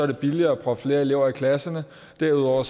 det billigere at proppe flere elever ind i klasserne derudover er